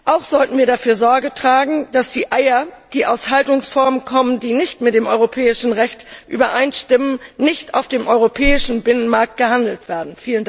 Auch sollten wir dafür Sorge tragen, dass Eier, die aus Haltungsformen kommen, die nicht mit dem europäischen Recht übereinstimmen, nicht auf dem europäischen Binnenmarkt vermarktet werden.